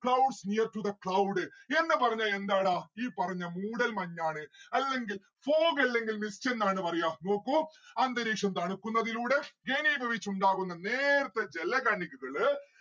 clouds near to the cloud എന്ന് പറഞ്ഞാ എന്താടാ ഈ പറഞ്ഞ മൂടൽ മഞ്ഞ് ആണ് അല്ലെങ്കിൽ fog അല്ലെങ്കിൽ mist എന്നാണ് പറയാ. നോക്കൂ അന്തരീക്ഷം തണുക്കുന്നതിലൂടെ ഘനീഭവിച്ചുണ്ടാകുന്ന നേർത്ത ജല കണികകള്